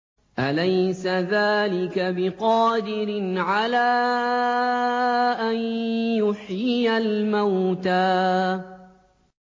أَلَيْسَ ذَٰلِكَ بِقَادِرٍ عَلَىٰ أَن يُحْيِيَ الْمَوْتَىٰ